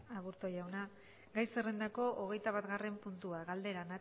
aburto jauna gai zerrendako hogeitabatgarren puntua galdera